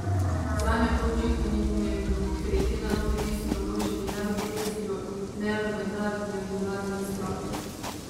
Zanjo to očitno ni pomembno, ker ji te naloge niso naložili ne v Bruslju ne v Mednarodnem denarnem skladu.